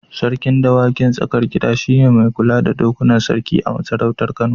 Sarkin dawakin Tsakar Gida shi ne mai kula da dokunan sarki a masarautar Kano.